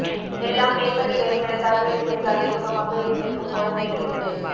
எல்லாம் பேப்பரில் வெறும் எழுத்தாக இருந்திருந்தாலே சுகமாக இருந்திருக்கும் போல தெரிகிறது